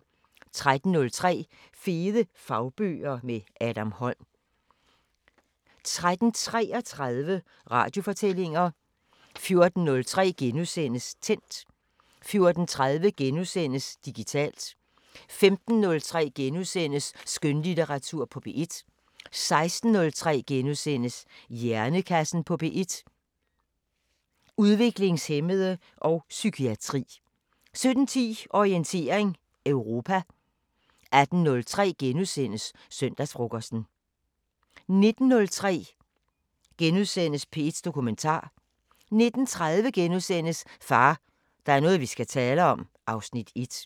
13:03: Fede fagbøger – med Adam Holm 13:33: Radiofortællinger 14:03: Tændt * 14:30: Digitalt * 15:03: Skønlitteratur på P1 * 16:03: Hjernekassen på P1: Udviklingshæmmede og psykiatri * 17:10: Orientering Europa 18:03: Søndagsfrokosten * 19:03: P1 Dokumentar * 19:30: Far, der er noget vi skal tale om (Afs. 1)*